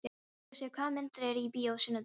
Jósep, hvaða myndir eru í bíó á sunnudaginn?